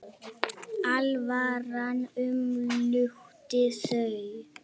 Alvaran umlukti þau.